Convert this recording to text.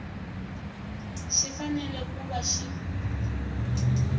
xi fanele ku va xi